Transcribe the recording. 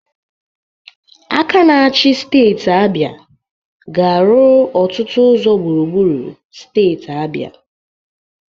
Aka na-achi steeti Abia ga-arụ ọtụtụ ụzọ gbụrugbụru steeti Abia.